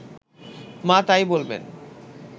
মা তাই বলবেন